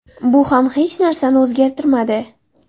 Bu ham hech narsani o‘zgartirmadi.